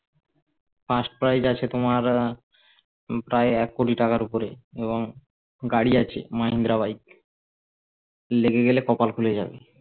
firstprize আছে তোমার প্রায় এককোটি টাকার ওপরে এবং গাড়ি আছে মাহিন্দ্রা বাইক লেগে গেলে কপাল খুলে যাবে